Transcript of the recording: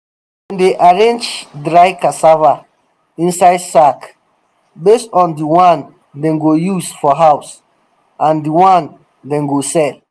dem dey arrange dry cassava inside sack base on di one dem go use for house and di one dem go sell